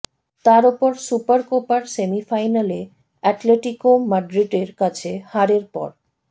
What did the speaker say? তার ওপর সুপারকোপার সেমিফাইনালে অ্যাটলেটিকো মাদ্রিদের কাছে হারের পর